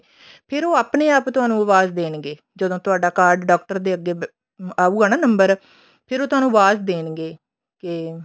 ਫੇਰ ਉਹ ਆਪਣੇ ਆਪ ਤੁਹਾਨੂੰ ਆਵਾਜ ਦੇਣਗੇ ਜਦੋਂ ਤੁਹਾਡਾ card doctor ਦੇ ਅੱਗੇ ਆਮ ਆਉਗਾ ਨਾ number ਫੇਰ ਉਹ ਤੁਹਾਨੂੰ ਆਵਾਜ ਦੇਣਗੇ ਕੇ